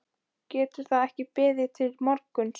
Getur það ekki beðið til morguns?